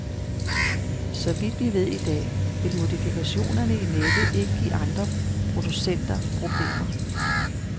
Så vidt vi ved i dag, vil modifikationerne i nettet ikke give andre producenter problemer.